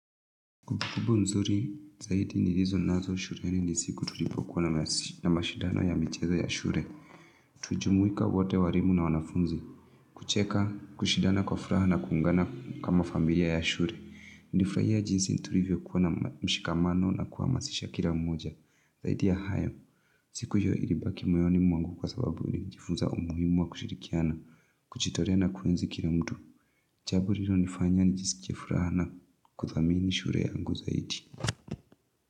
Kumbukumbu nzuri zaidi nilizonazo shuleni ni siku tulipokuwa na mashidano ya michezo ya shule. Tulijumuika wote walimu na wanafunzi. Kucheka kushidana kwa furaha na kuungana kama familia ya shule. Nili furahia jinsi tulivyokuwa na mshikamano na kuhamasisha kila mmoja zaidi ya hayo. Sikujua ilibaki moyoni mwangu kwa sababu ilijifuza umuhimu wa kushirikiana kujitolea na kuenzi kila mtu. Jambo lilonifanya nijisike furaha na kudhamini shule yangu zaidi.